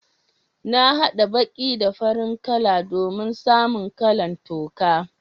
Na hada baki da farin kala domin samu kala'n toka.